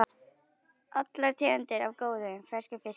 Allar tegundir af góðum, ferskum fiski duga.